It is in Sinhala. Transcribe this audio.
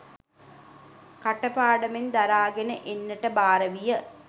කට පාඩමෙන් දරාගෙන එන්නට භාර විය.